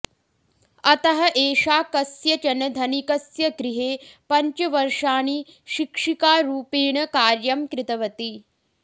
अतः एषा कस्यचन धनिकस्य गृहे पञ्चवर्षाणि शिक्षिकारूपेण कार्यं कृतवती